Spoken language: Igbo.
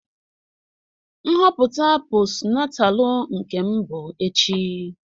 Nhọpụta posnatalu Nkem bụ echi.